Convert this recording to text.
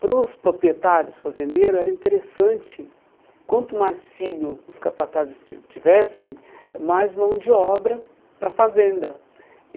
Para os proprietários fazendeiros era interessante, quanto mais filho os capatazes ti tivessem, mais mão de obra para a fazenda.